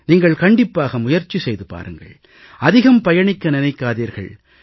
நீங்கள் கண்டிப்பாக முயற்சி செய்து பாருங்கள் அதிகம் பயணிக்க நினைக்காதீர்கள்